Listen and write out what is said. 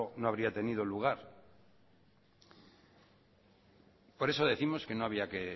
no habría tenido lugar por eso décimos que no había